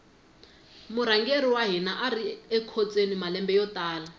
murhangeri wa hina ari ekhotsweni malembe yo tala